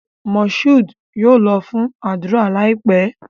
Moshood yóò lọ fún ádùrá láìpé